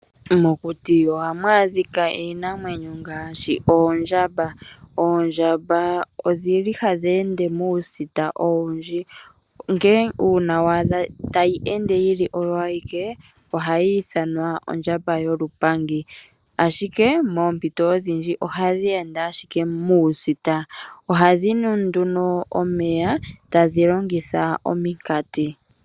Mokuti ohamu adhika iinamwenyo ngaashi oondjamba. Oondjamba ohadhi ende muusita owundji, uuna wadha tayi ende oyo ayiike ohayi ithanwa ondjamba yolupangi. Ashike moompito odhindji ohadhi ende ashike muusita, ohadhi nu omeya tadhi longitha omikanti.